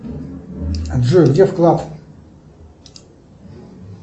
джой где вклад